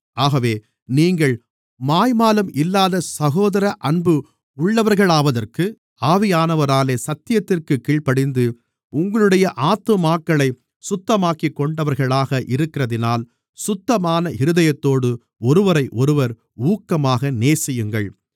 ஆகவே நீங்கள் மாய்மாலம் இல்லாத சகோதர அன்பு உள்ளவர்களாவதற்கு ஆவியானவராலே சத்தியத்திற்குக் கீழ்ப்படிந்து உங்களுடைய ஆத்துமாக்களைச் சுத்தமாக்கிக்கொண்டவர்களாக இருக்கிறதினால் சுத்தமான இருதயத்தோடு ஒருவரையொருவர் ஊக்கமாக நேசியுங்கள்